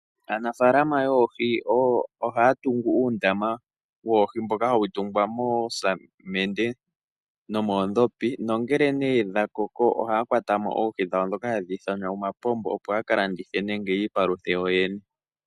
Aanafaalama yoohi ohaya tungu uundama wawo woohi mboka hawu tungwa moosamende nomoondhopi nongele nee dhakoko opo yaka landithe nenge yiipaluthe yoyene.